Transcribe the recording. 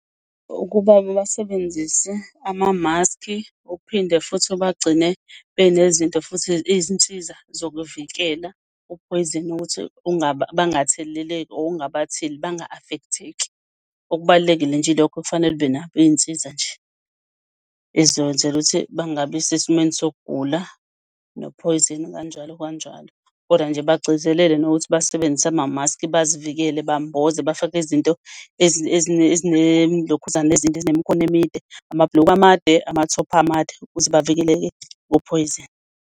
Ukuba basebenzise ama-mask-i okuphinde futhi ubagcine benezinto futhi izinsiza zokuvikela uphoyizeni ukuthi bangatheleleki or ungabatheli banga-affect-eki. Okubalulekile nje ilokho okufanele ube nabo, iy'nsiza nje, ezizokwenzela ukuthi bangabisesimweni sokugula nophoyizeni kukanjalo kanjalo. Kodwa nje bagcizelele nokuthi basebenzise ama-mask-i bazivikele, bamboza bafake izinto ezine lokhuzane ezinde, ezinemikhono emide, amabhuluku amade, ama-top amade, ukuze bavikeleke kuphoyizeni.